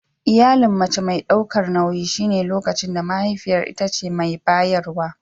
Iyalin mace mai daukar nauyi shine lokacin da mahaifiyar ita ce mai bayarwa.